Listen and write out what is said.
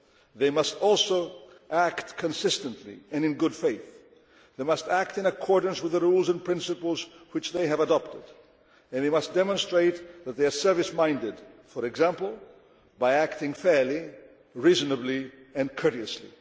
They must also act consistently and in good faith. They must act in accordance with the rules and principles which they have adopted, and they must demonstrate that they are service minded, for example, by acting fairly, reasonably and courteously.